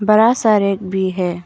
बड़ा सा रैक भी है।